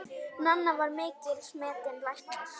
Nanna var mikils metinn læknir.